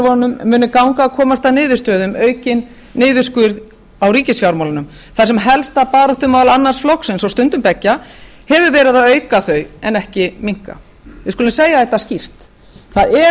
ríkisstjórnarforkólfunum muni ganga að komast að niðurstöðu um aukinn niðurskurð á ríkisfjármálunum þar sem helsta baráttumál annars flokksins og stundum beggja hefur verið að auka þau en ekki minnka við skulum segja þetta skýrt það er